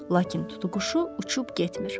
Lakin tutuquşu uçub getmir.